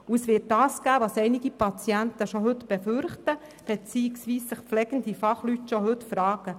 Und es wird das geben, was einige Patienten bereits heute befürchten, beziehungsweise was sich pflegende Fachleute bereits heute fragen: